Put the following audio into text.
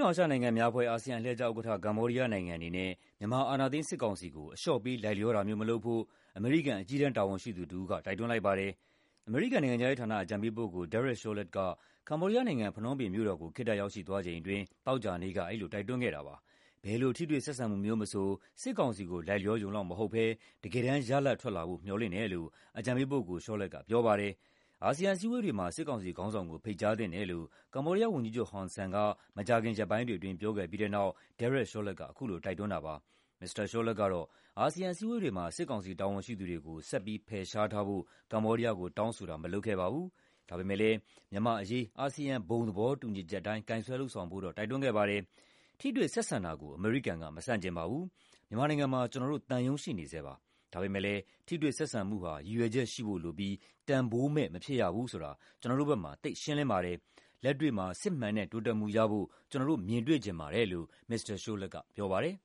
တောင်အာရှနိုင်ငံများအဖွဲ့ အလှည့်ကျဥက္ကဋ္ဌ ကမ္ဘောဒီးယားနိုင်ငံအနေနဲ့ မြန်မာ အာဏာသိမ်းစစ်ကောင်စီကို အလျှော့ပေး လိုက်လျောတာမျိုး မလုပ်ဖို့ အမေရိကန် အကြီးတန်း တာဝန်ရှိသူတဦးက တိုက်တွန်းလိုက်ပါတယ်။ အမေရိကန် နိုင်ငံခြားရေးဌာန အကြံပေးပုဂ္ဂိုလ် Derek Chollet က ကမ္ဘောဒီးယားနိုင်ငံ၊ ဖနွမ်းပင်မြို့တော်ကို ခေတ္တရောက်ရှိသွားချိန်အတွင်း သောကြာနေ့က အဲဒီလို တိုက်တွန်းခဲ့တာပါ။ ဘယ်လို ထိတွေ့ဆက်ဆံမှုမျိုးမဆို စစ်ကောင်စီကို လိုက်လျောရုံလောက်မဟုတ်ဘဲ တကယ်တမ်း ရလဒ်ထွက်လာဖို့ မျှော်လင့်တယ်လို့ အကြံပေးပုဂ္ဂိုလ် Chollet က ပြောပါတယ်။ အာဆီယံ အစည်းအဝေးတွေမှာ စစ်ကောင်စီခေါင်းဆောင်ကို ဖိတ်ကြားသင့်တယ်လို့ ကမ္ဘောဒီးယားဝန်ကြီးချုပ် ဟွန်ဆန်က မကြာခင် ရက်ပိုင်းတွေအတွင်း ပြောခဲ့ပြီးတဲ့နောက် Derek Chollet က အခုလို တိုက်တွန်းတာ ဖြစ်ပါတယ်။ မစ္စတာ Chollet ကတော့ အာဆီယံ အစည်းအဝေးတွေမှာ စစ်ကောင်စီ တာဝန်ရှိသူတွေကို ဆက်ပြီး ဖယ်ရှားထားဖို့ ကမ္ဘောဒီးယားကို တောင်းဆိုတာ မလုပ်ခဲ့ပါဘူး။ ဒါပေမယ့်လည်း မြန်မာ့အရေး အာဆီယံ ဘုံသဘောတူညီချက်အတိုင်း ကိုင်စွဲလုပ်ဆောင်ဖို့တော့ တိုက်တွန်းခဲ့ပါတယ်။ "ထိတွေ့ဆက်ဆံတာကို အမေရိကန်က မဆန့်ကျင်ပါဘူး။ မြန်မာနိုင်ငံမှာ ကျနော်တို့သံရုံး ရှိနေဆဲပါ။ ဒါပေမယ့်လည်း ထိတွေ့ဆက်ဆံမှုဟာ ရည်ရွယ်ချက်ရှိဖို့လိုပြီး တန်ဖိုးမဲ့ မဖြစ်ရဘူးဆိုတာ ကျနော်တို့ဘက်မှာ သိပ်ရှင်းလင်းပါတယ်။ လက်တွေ့မှာ စစ်မှန်တဲ့ တိုးတက်မှုရဖို့ ကျနော်တို့ မြင်တွေ့ချင်ပါတယ်" လို့ မစ္စတာ Chollet က ပြောပါတယ်